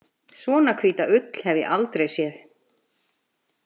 Svona hvíta ull hef ég aldrei séð.